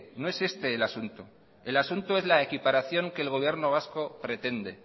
no es este el asunto el asunto es la equiparación que el gobierno vasco pretende